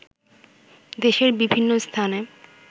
দেশের বিভিন্ন স্থানে